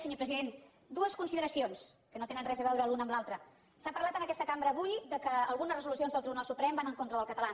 senyor president dues consideracions que no tenen res a veure l’una amb l’altra s’ha parlat en aquesta cambra avui que algunes resolucions del tribunal suprem van en contra del català